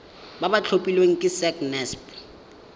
ba ba tlhophilweng ke sacnasp